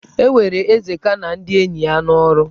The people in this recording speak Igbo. E were Ezeka na ndị enyi ya n'ọrụ.